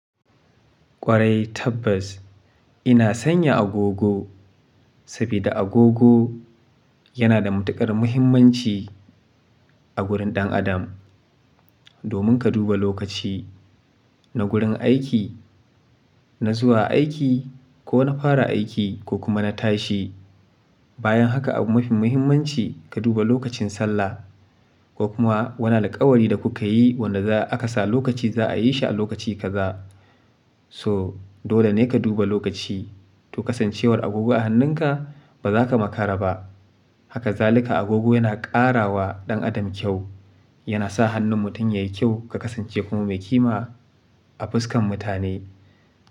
Kwarai Tabbas ina sanya agogo saboda agogo yana da matukar muhimmanci a gurin ɗan adam. Domin ka duba lokaci na gurin aiki, na zuwa aiki ko na fara aiki ko kuma na tashi. Bayan haka abu mafi mahimmanci ka duba lokacin sallah ko kuma wani alƙawari da kuka yi wanda aka sa lokaci za a yi shi a lokaci kaza. So dole ne ka duba lokaci. To kasancewar agogo a hannunka ba za ka makara ba. Haka zalika agogo yana ƙara wa ɗan adam kyau, yana sa hannun mutum yayi kyau ka kasance kuma mai kima a fuskan mutane.